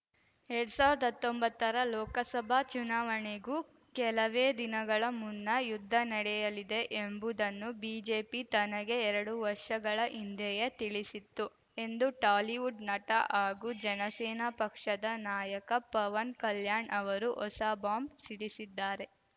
ಎರಡ್ ಸಾವ್ರ್ದ ಹತ್ತೊಂಬತ್ತರ ಲೋಕಸಭಾ ಚುನಾವಣೆಗೂ ಕೆಲವೇ ದಿನಗಳ ಮುನ್ನ ಯುದ್ಧ ನಡೆಯಲಿದೆ ಎಂಬುದನ್ನು ಬಿಜೆಪಿ ತನಗೆ ಎರಡು ವರ್ಷಗಳ ಹಿಂದೆಯೇ ತಿಳಿಸಿತ್ತು ಎಂದು ಟಾಲಿವುಡ್‌ ನಟ ಹಾಗೂ ಜನಸೇನಾ ಪಕ್ಷದ ನಾಯಕ ಪವನ್‌ ಕಲ್ಯಾಣ್‌ ಅವರು ಹೊಸ ಬಾಂಬ್‌ ಸಿಡಿಸಿದ್ದಾರೆ